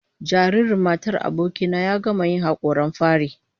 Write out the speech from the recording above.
Jaririn matar aboki na ya gama yin hakoran fari